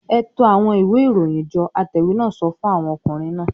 "Ẹ to àwọn ìwé-ìròyìn jọ!" Atẹ̀wé náà sọ fún àwọn ọkùnrin náà.